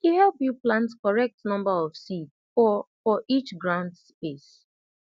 e help you plant correct number of seed for for each ground space